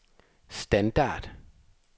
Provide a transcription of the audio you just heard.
standard